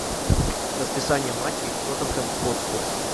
расписание матчей тоттенхэм хотспур